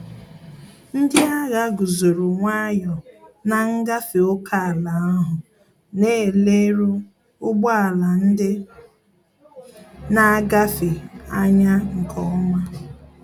Ndị agha guzoro nwayọ na ngafe ókèala ahụ, na ele ru ụgbọ ala ndị na-agafe anya nke ọma